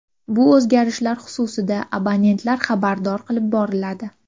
Bu o‘zgarishlar xususida abonentlar xabardor qilib boriladi.